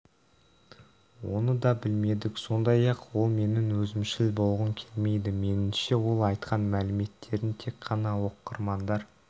оны да білмедік сондай-ақ ол мен өзімшіл болғым келмейді меніңше ол айтқан мәліметтерін тек тағы оқырмандар